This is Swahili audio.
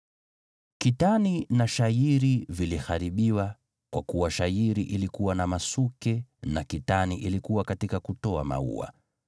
(Kitani na shayiri viliharibiwa, kwa kuwa shayiri ilikuwa na masuke, na kitani ilikuwa katika kutoa maua.